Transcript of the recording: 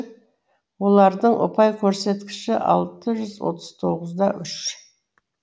олардың ұпай көрсеткіші алты жүз отыз тоғыз да үш